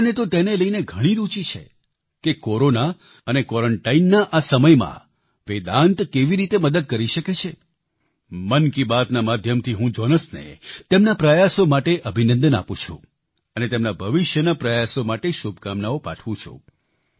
લોકોને તેને લઈને ઘણી રૂચી છે કે કોરોના અને ક્વોરન્ટાઈનના આ સમયમાં વેદાન્ત કેવી રીતે મદદ કરી શકે છે મન કી બાત ના માધ્યમથી હું જોનસને તેમના પ્રયાસો માટે અભિનંદન આપું છું અને તેમના ભવિષષ્યના પ્રયાસો માટે શુભકામનાઓ પાઠવું છું